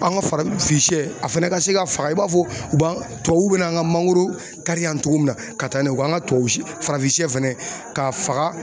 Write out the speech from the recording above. An ga farafinsɛ a fɛnɛ ka se ka faga i b'a fɔ u b'an tubabuw be n'an ga mangoro kari yan togo min na ka taa n'a ye u ka an ka tubabusɛ farafin fɛnɛ ka faga